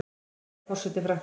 Hver er forseti Frakklands?